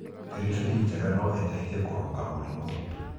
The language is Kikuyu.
Bĩribĩri njega no ĩ teithie kũrũnga mũrimũ.